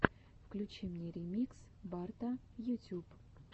включи мне ремикс барта ютюб